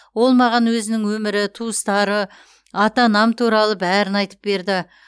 ол маған өзінің өмірі туыстары ата анам туралы бәрін айтып берді